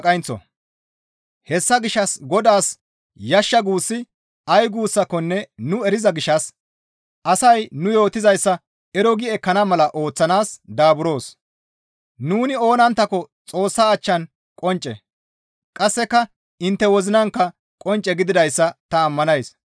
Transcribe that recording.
Hessa gishshas Godaas yashsha guussi ay guussakonne nu eriza gishshas asay nu yootizayssa ero gi ekkana mala ooththanaas daaburoos; nuni oonanttako Xoossa achchan qoncce; qasseka intte wozinankka qoncce gididayssa ta ammanays.